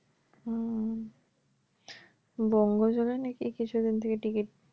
হুম। বঙ্গজ্বলে নাকি কিছুদিন থেকে ticket